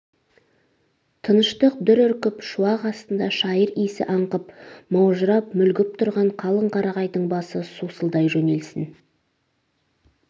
тыныштық дүр үркіп шуақ астында шайыр иісі аңқып маужырап мүлгіп тұрған қалың қарағайдың басы сусылдай жөнелсін